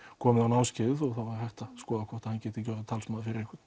komið á námskeið og þá er hægt að skoða hvort hann geti verið talsmaður fyrir einhvern